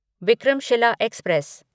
Vikramshila express